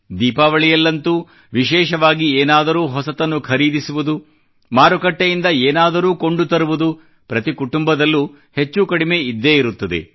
ದೀಪಾವಳಿಯಲ್ಲಂತೂ ವಿಶೇಷವಾಗಿ ಏನಾದರೂ ಹೊಸದನ್ನು ಖರೀದಿಸುವುದು ಮಾರುಕಟ್ಟೆಯಿಂದ ಏನಾದರೂ ಕೊಂಡು ತರುವುದು ಪ್ರತಿ ಕುಟುಂಬದಲ್ಲೂ ಹೆಚ್ಚು ಕಡಿಮೆ ಇದ್ದೇ ಇರುತ್ತದೆ